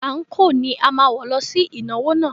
Ànko ni a máa wọ̀ lọ sí ìnáwó náà.